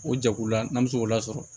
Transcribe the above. O jɛkulu la n'an bɛ se k'o lasɔrɔ